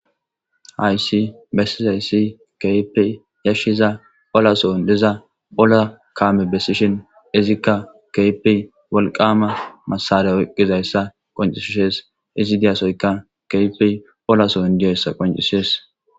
hayssi bessizayssi kahipe yashshiza olason diza ola kaame besishin izikka kehipe wolqama masare oqqizayssa qoncishishees izi diyasoyka kahipe olason diyassa qoncisees